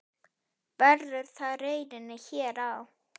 Verður það raunin hér á?